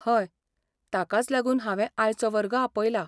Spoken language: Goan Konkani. हय, ताकाच लागून हांवें आयचो वर्ग आपयला.